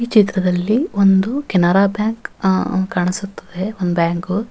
ಈ ಚಿತ್ರದಲ್ಲಿ ಒಂದು ಕೆನರಾ ಬ್ಯಾಂಕ್ ಆ ಕಾಣಿಸುತ್ತಿದೆ ಆ ಬ್ಯಾಂಕ್ .